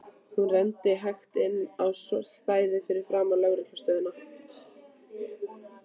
Hún renndi hægt inn á stæðið fyrir framan lögreglu stöðina.